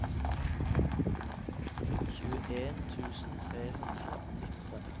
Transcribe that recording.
tjueen tusen tre hundre og nitten